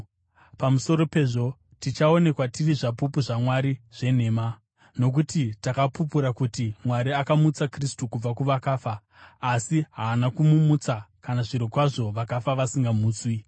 Pamusoro pezvo, tichaonekwa tiri zvapupu zvaMwari zvenhema, nokuti takapupura kuti Mwari akamutsa Kristu kubva kuvakafa. Asi haana kumumutsa kana zvirokwazvo vakafa vasingamutswi.